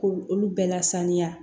K'olu bɛɛ lasaniya